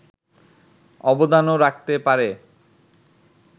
অবদানও রাখতে পারে